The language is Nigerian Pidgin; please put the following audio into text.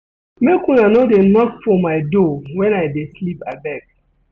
Make una no dey knock for my door wen I dey sleep abeg.